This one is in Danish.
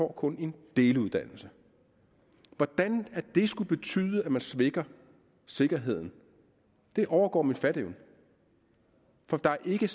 kun en deluddannelse hvordan det skulle betyde at man svækker sikkerheden overgår min fatteevne for der er ikke